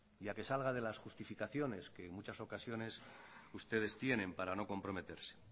y a que salga de las justificaciones que en muchas ocasiones ustedes tienen para no comprometerse